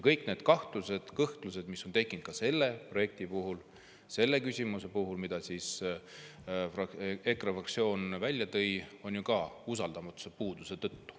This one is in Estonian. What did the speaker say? Kõik need kahtlused ja kõhklused, mis on tekkinud ka selle projekti puhul, selle küsimuse puhul, mille EKRE fraktsioon välja tõi, on ju ka puuduse tõttu.